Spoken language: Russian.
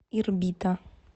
ирбита